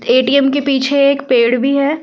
के पीछे एक पेड़ भी है ।